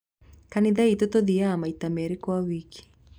Kanitha itũ tuthiaga maita merĩ kwa wiki.